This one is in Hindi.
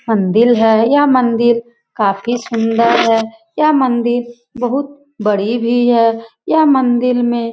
मंदिर है यह मंदिर काफी सुन्दर है यह मंदिर बहुत बड़ी भी है यह मंदिर में --